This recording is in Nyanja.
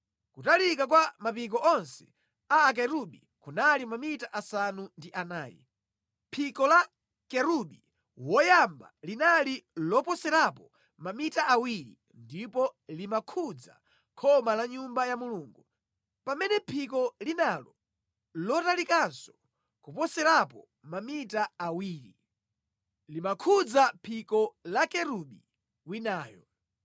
Kutalika kwa mapiko onse a Akerubi kunali mamita asanu ndi anayi. Phiko la Kerubi woyamba linali loposerapo mamita awiri ndipo limakhudza khoma la Nyumba ya Mulungu, pamene phiko linalo, lotalikanso koposerapo mamita awiri, limakhudza phiko la Kerubi winayo.